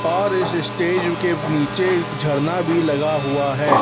और इस स्टेज के नीचे एक झरना भी लगा हुआ है।